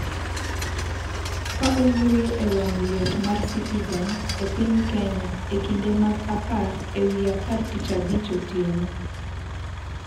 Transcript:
ka owuoyo e wang' liech mar citizen e piny Kenya e kinde mag apar ewi apar tich abich otieno